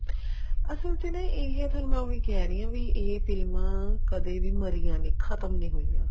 ਅਸਲ ਚ ਨਾ ਇਹ ਫ਼ੇਰ ਮੈਂ ਉਹੀ ਕਹਿ ਰਹੀ ਹਾਂ ਵੀ ਇਹ ਫ਼ਿਲਮਾ ਕਦੇ ਵੀ ਮਰੀਆਂ ਨੀ ਖਤਮ ਨੀ ਹੋਈਆਂ